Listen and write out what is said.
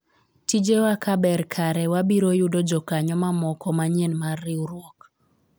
tije wa ka ber kare wabiro yudo jokanyo mamoko manyien mar riwruok